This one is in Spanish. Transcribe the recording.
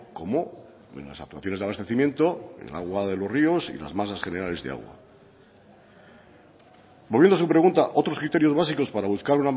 como en las actuaciones de abastecimiento el agua de los ríos y las masas generales de aguas volviendo a su pregunta otros criterios básicos para buscar